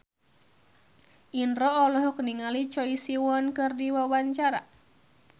Indro olohok ningali Choi Siwon keur diwawancara